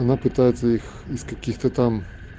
она пытается их из каких-то там